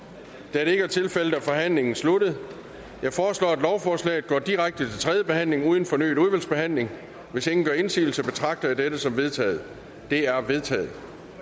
da det ikke er tilfældet er forhandlingen sluttet jeg foreslår at lovforslaget går direkte til tredje behandling uden fornyet udvalgsbehandling hvis ingen gør indsigelse betragter jeg dette som vedtaget det er vedtaget